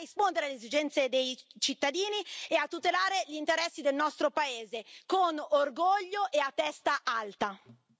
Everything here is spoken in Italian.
Noi continueremo a stare tra la gente, a rispondere alle esigenze dei cittadini e a tutelare gli interessi del nostro paese, con orgoglio e a testa alta.